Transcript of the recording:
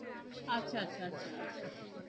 আচ্ছা আচ্ছা আচ্ছা